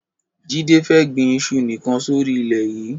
Jide fè gbin iṣu nikàn sóri ilè yi